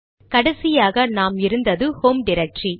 கடைசியாக நாம் இருந்தது ஹோம் டிரக்டரி